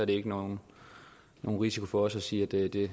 ikke nogen risiko for os sige at det